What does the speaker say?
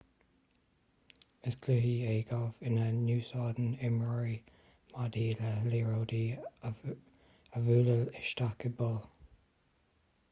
is cluiche é galf ina n-úsáideann imreoirí maidí le liathróidí a bhualadh isteach i bpoill